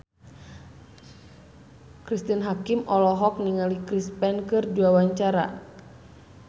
Cristine Hakim olohok ningali Chris Pane keur diwawancara